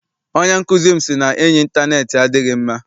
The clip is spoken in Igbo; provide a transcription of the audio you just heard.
Onye nkụzi m sị na enyi intaneeti adịghị mma.